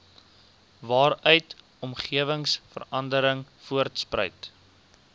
waaruit omgewingsverandering voortspruit